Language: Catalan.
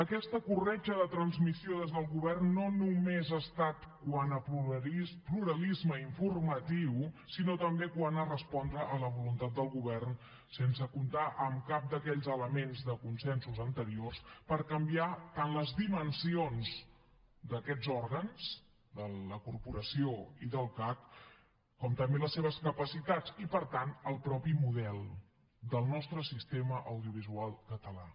aquesta corretja de transmissió des del govern no només ha estat quant a pluralisme informatiu sinó també quant a respondre a la voluntat del govern sense comptar amb cap d’aquells elements de consensos anteriors per canviar tant les dimensions d’aquests òrgans de la corporació i del cac com també les seves capacitats i per tant el mateix model del nostre sistema audiovisual català